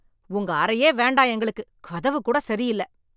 உங்க அறையே வேண்டாம் எங்களுக்கு, கதவு கூட சரியில்ல.